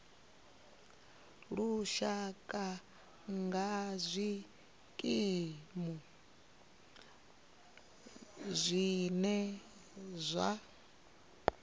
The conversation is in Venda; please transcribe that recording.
lushaka nga zwikimu zwine zwa